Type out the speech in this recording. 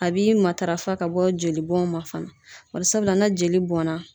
A b'i matarafa ka bɔ jolibɔn ma fana barisabula n'a jeli bɔnna